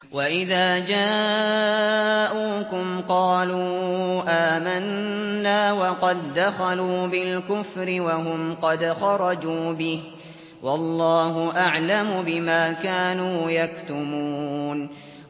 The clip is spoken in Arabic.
وَإِذَا جَاءُوكُمْ قَالُوا آمَنَّا وَقَد دَّخَلُوا بِالْكُفْرِ وَهُمْ قَدْ خَرَجُوا بِهِ ۚ وَاللَّهُ أَعْلَمُ بِمَا كَانُوا يَكْتُمُونَ